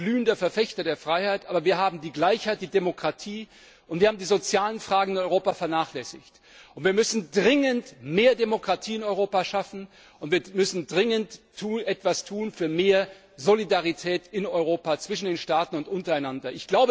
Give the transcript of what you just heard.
Ich bin ein glühender Verfechter der Freiheit, aber wir haben die Gleichheit, die Demokratie und die sozialen Fragen in Europa vernachlässigt. Wir müssen dringend mehr Demokratie in Europa schaffen, und wir müssen dringend etwas tun für mehr Solidarität in Europa, zwischen den Staaten und untereinander.